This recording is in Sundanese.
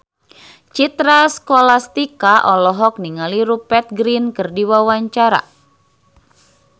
Citra Scholastika olohok ningali Rupert Grin keur diwawancara